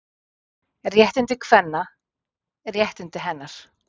Réttindi kvenna, réttindi hennar.